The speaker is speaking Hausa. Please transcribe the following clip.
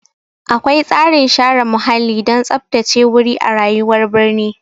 Akwai tsarin share muhalli don tsaftace wuri a rayuwar birni.